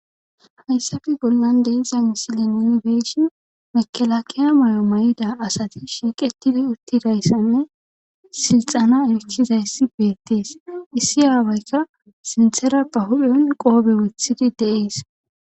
hayssafi bollan deizan sile inibeshin mekelakiya mayo may7ida asati shiiqetidi uttidayssanne silxana michizayssi beettees issi aawayka sinthera pa hu7on qoobe wethidi deees